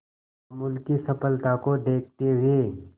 अमूल की सफलता को देखते हुए